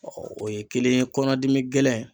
o ye kelen ye, kɔnɔdimi gɛlɛn